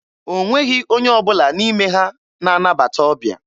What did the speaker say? O nweghị onye ọbụla n'ime ha na-anabata ọbịa.